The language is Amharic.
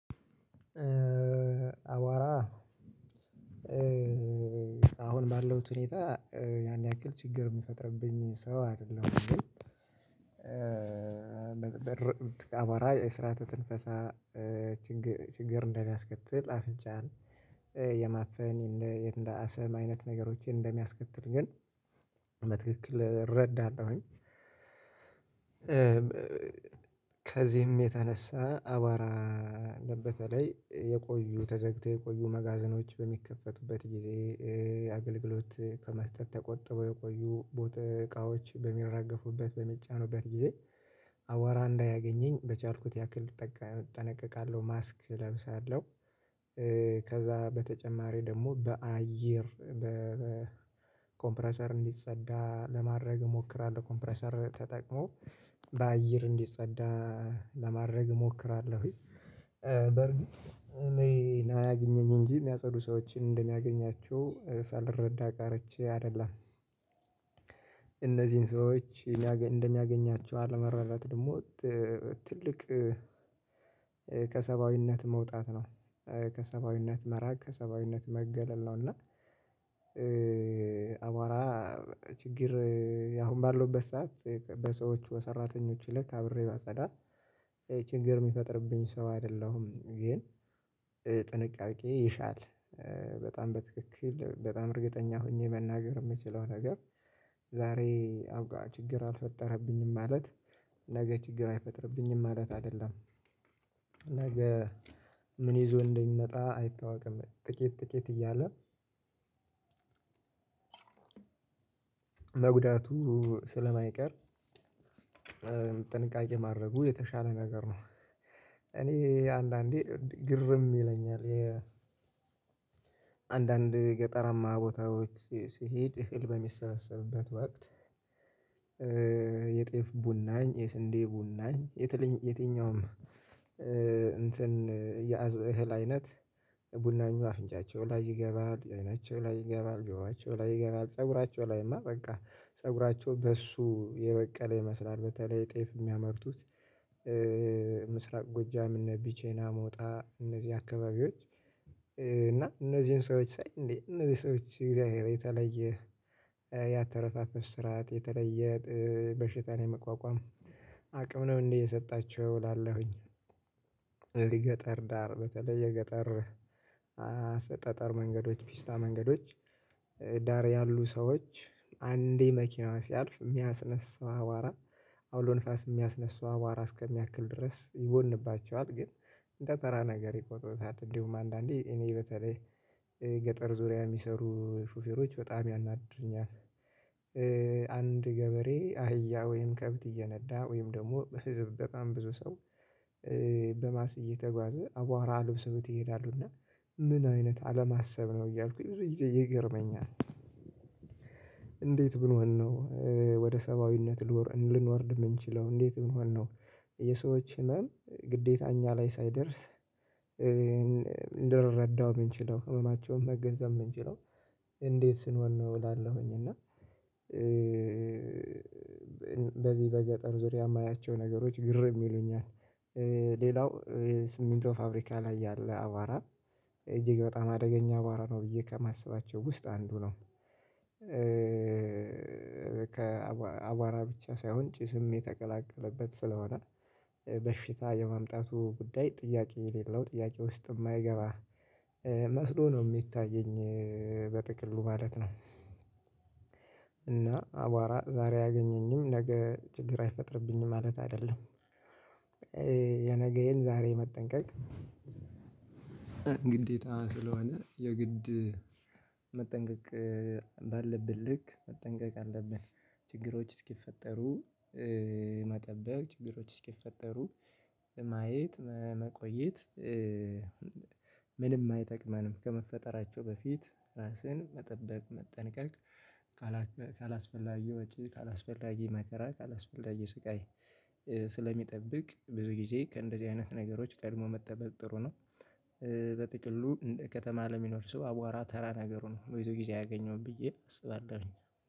አዋራ አሁን ባለውት ሁኔታ ያን ያክል ችግር የሚፈጥርብኝ ሰው አይደለም ግን መንበር አቧራ የስርአተ ትንፈሳ ችግር እንደሚያስከትል አፍንጫን የማፈን እንደ አሰም አይነት ነገሮችን እንደሚያስከትል ግን በትክክል እረዳለሁኝ። ከዚህም የተነሳ አቧራ አለበት ላይ የቆዩ ተዘግተው የቆዩ መጋዘኖች በሚከፈቱበት ጊዜ አገልግሎት ከመስጠት ተቆጥበው የቆዩ እቃዎች በሚራገፉበት በሚጫኑበት ጊዜ አዋራ እንዳያገኘኝ በቻልኩት ያክል እጠነቀቃለሁ ማስክ እለብሳለሁ። ከዛ በተጨማሪ ደግሞ በአየር በኮምፕረሰር እንዲፅዳ ለማድረግ እሞክራለሁ ኮምፕረሰር ተጠቅሞ በአየር እንዲጸዳ ለማድረግ እሞክራለሁኝ። በርግጥ እኔ አያግኘኝ እንጂ የሚያጸዱ ሰዎችን እንደሚያገኛችው ሳልረዳ ቀርቼ አይደለም። እነዚህን ሰዎች እንደሚያገኛቸው አለመረዳት ደግሞ ትልቅ ከሰባዊነት መውጣት ነው። ከሰባዊነት መራቅ ከሰባዊነት መገለል ነው። እና አቧራ ችግር አሁን ባለውበት ሰዓት በሰዎቹ በሰራተኞቹ ልክ አብሬ ባጸዳ ችግር የሚፈጥርብኝ ሰው አይደለሁም ግን ጥንቃቄ ይሻል። በጣም በትክክል በጣም እርግጠኛ ሆኜ መናገር የምችለው ነገር ዛሬ አብቃ ችግር አልፈጠረብኝም ማለት ነገ ችግር አይፈጥርብኝም ማለት አይደለም። ነገ ምን ይዞ እንደሚመጣ አይታወቅም። ጥቂት ጥቂት እያለ መጉዳቱ ስለማይቀር ጥንቃቄ ማድረጉ የተሻለ ነገር ነው። እኔ አንዳንዴ ግርም ይለኛል። አንዳንድ ገጠራማ ቦታዎች ስሄድ እህል በሚሰበሰብበት ወቅት የጤፍ ቡናኝ የስንዴ ቡናኝ የትልኝ የትኛውም እንትን የአዝ እህል አይነት ቡናኙ አፍንጫቸው ላይ ይገባል አይናቸው ላይ ይገባል ጆሯቸው ላይ ይገባል ፀጉራቸው ላይማ በቃ ፀጉራቸው በእሱ የበቀለ ይመስላል በተለይ ጤፍ የሚያመርቱት። ምስራቅ ጎጃም እነ ቢቸና ሞጣ እነዚህ አካባቢዎች እና እነዚህን ሰዎች ሳይ እንዴ እነዚህ ሰዎች እግዚአብሔር የተለየ ያተነፋፈስ ስርዓት የተለየ በሽታን የመቋቋም አቅም ነው እንዴ የሰጣቸው እላለሁኝ። የገጠር ዳር በተለይ የገጠር ጠጠር መንገዶች ፒስታ መንገዶች ዳር ያሉ ሰዎች አንዴ መኪና ሲያልፍ እሚያስነሳው አቧራ አውሎንፋስ የሚያስነሳው አቧራ እስከሚያክል ድረስ ይቦንባቸዋል ግን እንደ ተራ ነገር ይቆጥሩታል እንደውም አንዳንዴ እኔ በተለይ ገጠር ዙሪያ የሚሰሩ ሹፌሮች በጣም ያናድዱኛል። አንድ ገበሬ አህያ ወይም ከብት እየነዳ ወይም ደግሞ ህዝብ በጣም ብዙ ሰው በባስ እተጓዘ አቧራ አልብሰውት ይሄዳሉ እና ምን አይነት አለማሰብ ነው እያልኩኝ ብዙ ይገርመኛል። እንዴት ብንሆንነው ወደ ሰብአዊነት ልንወርድ የምንችለው እንዴት ብንሆንነው የሰዎች ህመም ግዴታ እኛ ላይ ሳይደርስ እንድረዳው የምንችለው ህመማቸውን መገንዘብ የምንችለው እንዴት ስንሆን ነው? እላለሁኝ እና በዚህ በገጠር ዙሪያ የማያቸው ነገሮች ግር የሚሉኛል። ሌላው ሲሚንቶ ፋብሪካ ላይ ያለ አቧራ እጅግ በጣም አደገኛ አቧራ ነው ብዬ ከማስባቸው ውስጥ አንዱ ነው። ከአቧራ ብቻ ሳይሆን ጭስም የተቀላቀለበት ስለሆነ በሽታ የማምጣቱ ጉዳይ ጥያቄ የሌለው ጥያቄ ውስጥ የማይገባ መስሎ ነው የሚታየኝ በጥቅሉ ማለት ነው። እና አቧራ ዛሬ ያገኘኝም ነገ ችግር አይፈጥርብኝም ማለት አይደለም። የነገዬን ዛሬ መጠንቀቅ ግዴታ ስለሆነ የግድ መጠንቀቅ ባለብን ልክ መጠንቀቅ አለብን። ችግሮች እስኪፈጠሩ መጠበቅ ችግሮች እስኪፈጠሩ ማየት መቆየት ምንም አይጠቅመንም ከመፈጠራቸው በፊት ራስህን መጠበቅ መጠንቀቅ ካላስፈላጊ ወጪ ካላስፈላጊ መከራ ካላስፈላጊ ስቃይ ስለሚጠብቅ ብዙ ጊዜ ከእንደዚህ አይነት ነገሮች ቀድሞ መጠበቅ ጥሩ ነው። በጥቅሉ ከተማ ለሚኖር ሰው አቧራ ተራ ነገሩ ነው ብዙ ጊዜ አያገኘውም ብዬ አስባለሁኝ